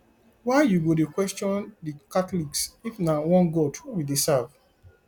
why you go dey question the catholics if na one god we dey serve